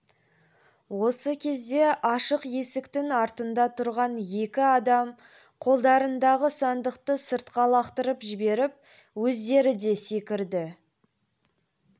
осы кезде ашық есіктің алдында тұрған екі адам қолдарындағы сандықты сыртқа лақтырып жіберіп өздері де секірді